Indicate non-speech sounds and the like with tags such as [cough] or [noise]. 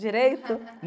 Direito? [laughs]